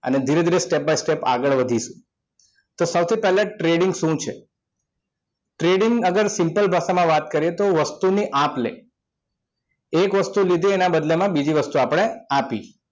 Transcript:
અને ધીરે ધીરે step by step આગળ વધીશું તો સૌથી પહેલા trading શું છે? trading અગર simple ભાષામાં વાત કરીએ તો વસ્તુની આપ લે એક વસ્તુ લીધી એના બદલા માં બીજી વસ્તુ આપણે આપી